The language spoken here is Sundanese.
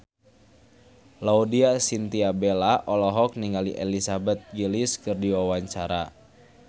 Laudya Chintya Bella olohok ningali Elizabeth Gillies keur diwawancara